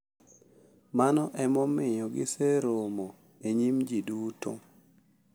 Mano e momiyo giseromo e nyim ji duto.